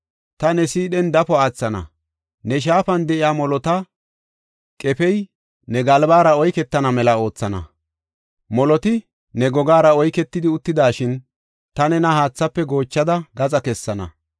Ta ne siidhen dafo aathana; ne shaafan de7iya molota qefey ne galbara oyketana mela oothana; moloti ne gogaara oyketidi uttidashin, ta nena haathaafe goochada gaxa kessana.